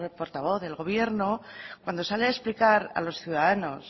portavoz del gobierno cuando sale a explicar a los ciudadanos